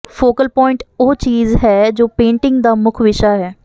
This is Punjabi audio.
ਫੋਕਲ ਪੁਆਇੰਟ ਉਹ ਚੀਜ਼ ਹੈ ਜੋ ਪੇਂਟਿੰਗ ਦਾ ਮੁੱਖ ਵਿਸ਼ਾ ਹੈ